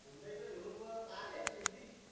इथल्या इथे शोरूम वर कार घ्यायची होती